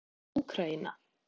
Úkraína